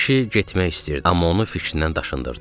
Kişi getmək istəyirdi, amma onu fikrindən daşındırdı.